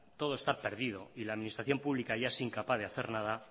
todo está perdido y la administración pública ya es incapaz de hacer nada